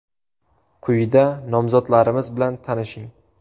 Quyida nomzodlarimiz bilan tanishing.